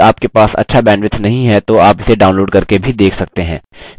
यदि आपके पास अच्छा bandwidth नहीं है तो आप इसे download करके भी देख सकते हैं